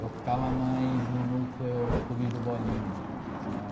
Eu ficava mais no núcleo clube do bolinha, né?